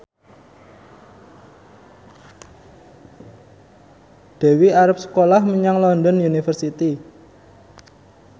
Dewi arep sekolah menyang London University